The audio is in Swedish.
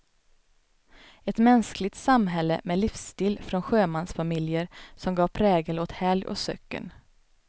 Ett mänskligt samhälle med livsstil från sjömansfamiljer som gav prägel åt helg och söcken.